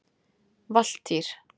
Valtýr